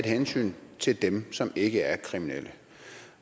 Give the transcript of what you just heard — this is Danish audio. hensyn til dem som ikke er kriminelle